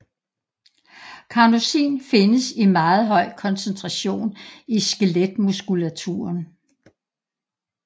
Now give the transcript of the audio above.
Carnosin findes i meget høj koncentration i skeletmuskulaturen